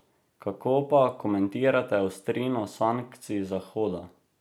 Kako pa komentirate ostrino sankcij Zahoda?